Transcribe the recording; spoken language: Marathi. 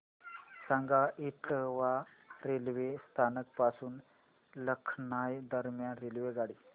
सांगा इटावा रेल्वे स्थानक पासून लखनौ दरम्यान रेल्वेगाडी